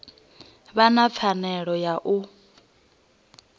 vha na pfanelo ya u